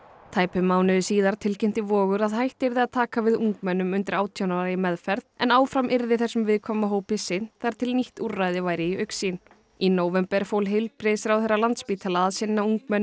tæpum mánuði síðar tilkynnti Vogur að hætt yrði að taka við ungmennum undir átján ára í meðferð en áfram yrði þessum viðkvæma hópi sinnt þar til nýtt úrræði væri í augsýn í nóvember fól heilbrigðisráðherra Landspítala að sinna ungmennum